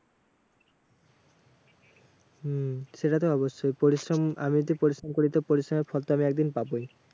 হম সেটা তো অবশ্যই। পরিশ্রম আমি যদি পরিশ্রম করি তো পরিশ্রমের ফল তো আমি একদিন পাবোই।